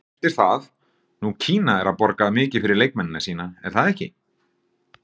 Eftir það, nú Kína er að borga mikið fyrir leikmennina sína, er það ekki?